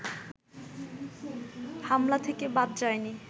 হামলা থেকে বাদ যায়নি